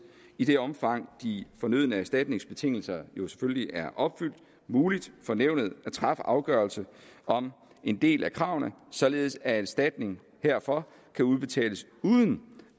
i det omfang de fornødne erstatningsbetingelser selvfølgelig er opfyldt muligt for nævnet at træffe afgørelse om en del af kravene således at erstatning herfor kan udbetales uden